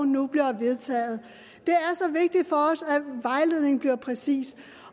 nu bliver vedtaget det er så vigtigt for os at vejledningen bliver præcis